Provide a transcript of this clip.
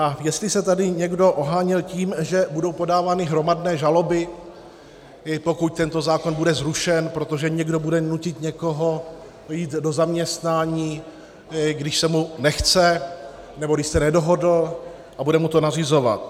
A jestli se tady někdo oháněl tím, že budou podávány hromadné žaloby, pokud tento zákon bude zrušen, protože někdo bude nutit někoho jít do zaměstnání, když se mu nechce nebo když se nedohodl, a bude mu to nařizovat.